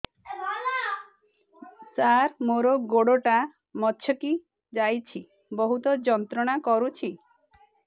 ସାର ମୋର ଗୋଡ ଟା ମଛକି ଯାଇଛି ବହୁତ ଯନ୍ତ୍ରଣା କରୁଛି